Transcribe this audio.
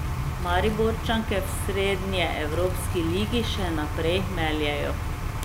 Mariborčanke v srednjeevropski ligi še naprej meljejo.